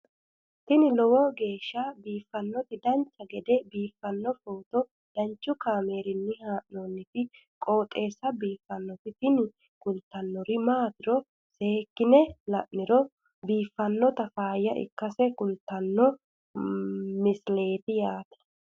tini lowo geeshsha biiffannoti dancha gede biiffanno footo danchu kaameerinni haa'noonniti qooxeessa biiffannoti tini kultannori maatiro seekkine la'niro biiffannota faayya ikkase kultannoke misileeti yaate